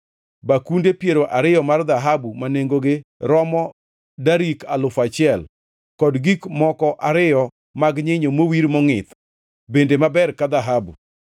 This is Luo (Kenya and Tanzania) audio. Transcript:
bakunde piero ariyo mar dhahabu ma nengogi romo darik alufu achiel, kod gik moko ariyo mag nyinyo mowir mongʼith, bende maber ka dhahabu.